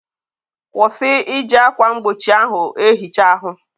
kwụsị iji akwa mgbochi ahụ ehicha ahụ!